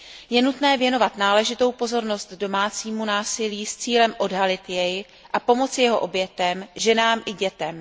Je nutné věnovat náležitou pozornost domácímu násilí s cílem odhalit jej a pomoci jeho obětem, ženám i dětem.